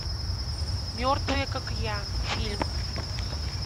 мертвые как я фильм